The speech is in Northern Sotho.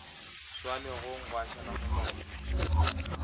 swa legong gwa šala molora